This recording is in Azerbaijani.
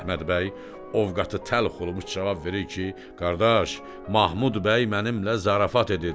Əhməd bəy ovqatı təlx olumuş cavab verir ki, qardaş, Mahmud bəy mənimlə zarafat edir.